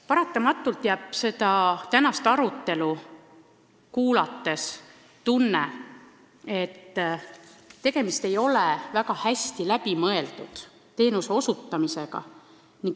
Paratamatult jääb pärast tänast arutelu tunne, et tegemist ei ole väga hästi läbi mõeldud teenuse osutamisega.